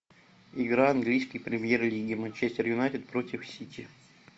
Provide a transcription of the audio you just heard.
игра английской премьер лиги манчестер юнайтед против сити